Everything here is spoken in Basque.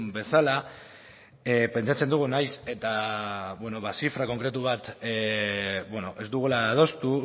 bezala pentsatzen dugu nahiz eta zifra konkretu bat ez dugula adostu